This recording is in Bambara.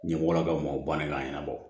Ɲɛmɔgɔlakaw mɔw b'an ka ɲɛnabɔ